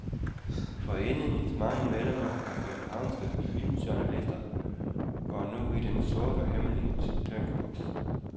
Foreningens mange medlemmer af københavnske filmjournalister går nu i den sorte, hemmelige tænkeboks.